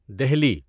Delhi